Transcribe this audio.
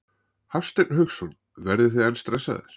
Hafsteinn Hauksson: Verðið þið enn stressaðir?